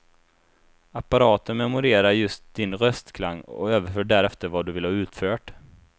Apparaten memorerar just din röstklang och överför därefter vad du vill ha utfört.